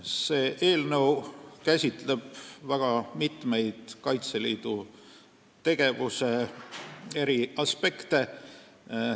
See eelnõu käsitleb väga mitmeid Kaitseliidu tegevuse aspekte.